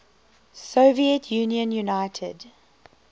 soviet union united